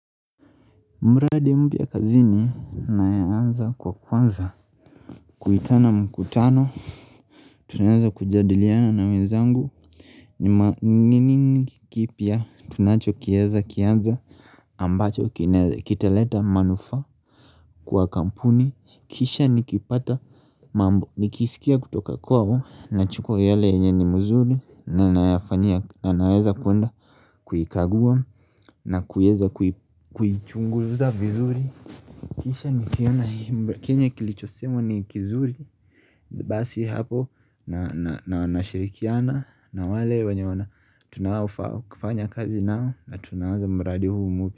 Mradi mpya kazini anayeanza kwa kwanza Kuitana mkutano Tunaweza kujadiliana na wezangu ni nini kipya tunacho kieza kiaza ambacho kinaweza kitaleta manufaa kwa kampuni kisha nikipata mambo nikisikia kutoka kwao nachukwa yale yenye ni muzuri na naweza kwenda Kuikagua na kuweza kuichunguza vizuri Kisha nikiona Kenye kilichosemwa ni kizuri Basi hapo na nashirikiana na wale wenye wana Tunao fanya kazi na na tunaanza mradi huu mpya.